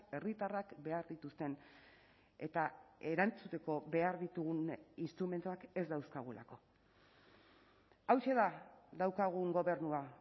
herritarrak behar dituzten eta erantzuteko behar ditugun instrumentuak ez dauzkagulako hauxe da daukagun gobernua